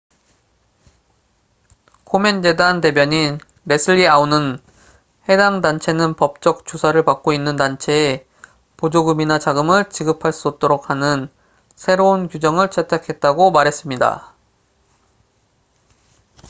코멘 재단 대변인 leslie aun은 해당 단체는 법적 조사를 받고 있는 단체에 보조금이나 자금을 지급할 수 없도록 하는 새로운 규정을 채택했다고 말했습니다